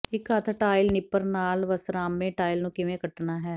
ਇੱਕ ਹੱਥ tile nipper ਨਾਲ ਵਸਰਾਮੇ ਟਾਇਲ ਨੂੰ ਕਿਵੇਂ ਕੱਟਣਾ ਹੈ